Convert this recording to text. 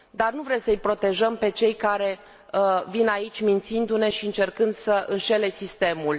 Dar nu vrem să îi protejăm pe cei care vin aici mințindu ne și încercând să înșele sistemul.